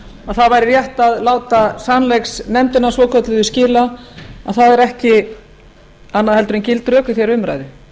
að það væri rétt að láta sannleiksnefndina svokölluðu skila að það eru ekki annað en gild rök í þeirri umræðu